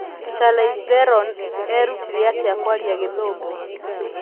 Charlize Theron eerutire atĩa kwaria Gĩthũngũ